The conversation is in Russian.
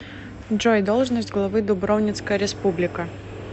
джой должность главы дубровницкая республика